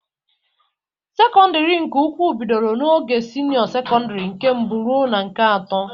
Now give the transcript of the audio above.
Sekọndịrị nke ukwu bidoro n'ogo sinịọ sekọndịrị nke mbụ ruo na nke atọ.